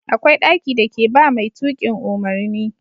Akwai ɗaki da ke ba mai tukin umarni